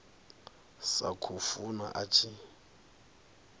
sa khou funa a tshi